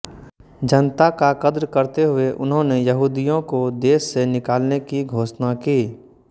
जनता का कद्र करते हुए उन्होंने यहुदियों को देश से निकालने की घोषणा की